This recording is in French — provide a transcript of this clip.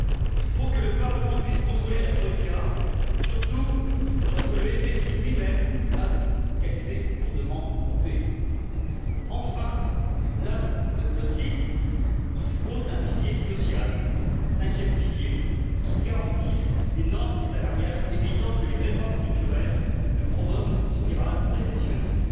Il faut que le Parlement puisse contrôler la troïka, surtout lorsque le FMI lui même avoue qu'elle s'est lourdement trompée. Enfin, last but not least il faut un pilier social cinquième pilier qui garantisse des normes salariales évitant que les réformes structurelles ne provoquent une spirale récessionniste.